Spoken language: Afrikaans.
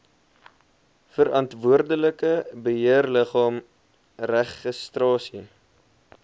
verantwoordelike beheerliggaam registrasie